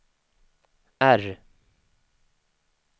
R